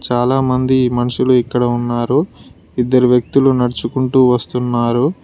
చాలామంది మనుషులు ఇక్కడ ఉన్నారు ఇద్దరు వ్యక్తులు నడుచుకుంటూ వస్తున్నారు.